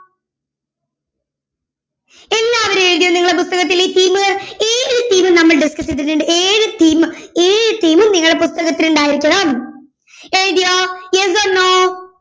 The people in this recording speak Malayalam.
എല്ലാവരും എഴുതിയോ നിങ്ങളുടെ പുസ്തകത്തിൽ ഈ theme ഏഴു theme നമ്മൾ discuss ചെയ്തിട്ടുണ്ട് ഏഴു theme ഏഴു theme നിങ്ങളുടെ പുസ്തകത്തിൽ ഉണ്ടായിരിക്കണം എഴുതിയോ yes or no